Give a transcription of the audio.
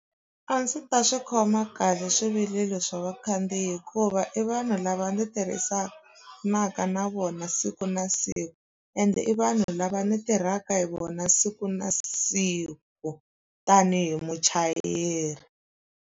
A ndzi ta swi khoma kahle swivilelo swa vakhandziyi hikuva i vanhu lava ndzi tirhisanaka na vona siku na siku ende i vanhu lava ndzi tirhaka hi vona siku na siku tanihi muchayeri.